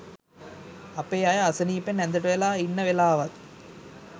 අපේ අය අසනීපෙන් ඇඳට වෙලා ඉන්න වෙලාවත්